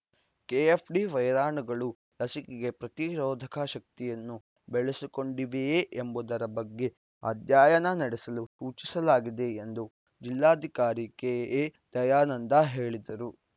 KFD ವೈರಾಣುಗಳು ಲಸಿಕೆಗೆ ಪ್ರತಿರೋಧಕ ಶಕ್ತಿಯನ್ನು ಬೆಳೆಸಿಕೊಂಡಿವೆಯೇ ಎಂಬುದರ ಬಗ್ಗೆ ಅಧ್ಯಯನ ನಡೆಸಲು ಸೂಚಿಸಲಾಗಿದೆ ಎಂದು ಜಿಲ್ಲಾಧಿಕಾರಿ ಕೆ ಎ ದಯಾನಂದ ಹೇಳಿದರು